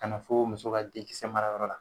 Kana fo muso ka denkisɛ marayɔrɔ la